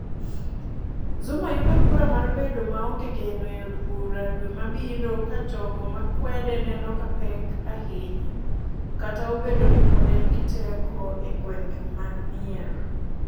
Zuma yudo kura mar bedo maonge geno e od bura dwe mabiro ka jogo makwede neno kapek ahinya - kata obedo ni pod en gi teko e gwenge mag mier